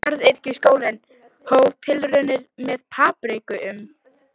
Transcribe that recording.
Garðyrkjuskólinn hóf tilraunir með papriku um